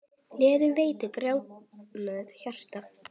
Gleði veitir grátnu hjarta.